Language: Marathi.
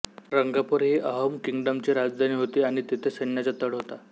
रंगपूर ही अहोम किंगडमची राजधानी होती आणि तेथे सैन्याचा तळ होता